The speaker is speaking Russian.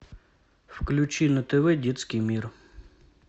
включи на тв детский мир